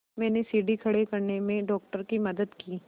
मैंने सीढ़ी खड़े करने में डॉक्टर की मदद की